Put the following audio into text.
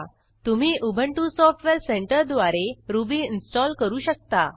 तुम्ही Ubuntu software सेंटरद्वारे Ruby install करू शकता